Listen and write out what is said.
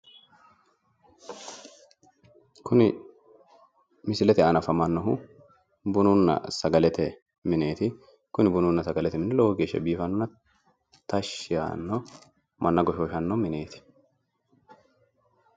Kuni misilete aana afamannohu bununna sagalete mineeti kuni bununna sgalete mini biifanno tashshi yaanno manna goshooshanno mineeti.